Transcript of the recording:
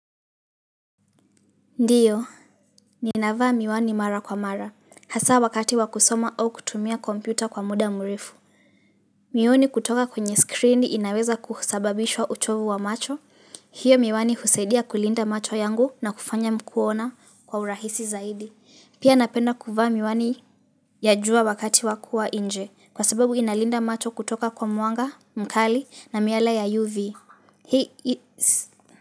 Ndio, ninavaa miwani mara kwa mara, hasa wakati wa kusoma au kutumia kompyuta kwa muda mrefu. Mioni kutoka kwenye screen inaweza kusababisha uchovu wa macho, hiyo miwani husaidia kulinda macho yangu na kufanya kuona kwa urahisi zaidi. Pia napenda kuvaa miwani ya jua wakati wakua nje, kwa sababu inalinda macho kutoka kwa mwanga, mkali na miala ya UV. He is.